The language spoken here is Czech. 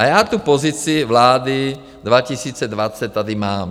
A já tu pozici vlády 2020 tady mám.